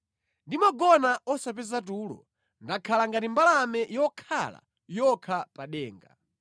Ndimagona osapeza tulo; ndakhala ngati mbalame yokhala yokha pa denga.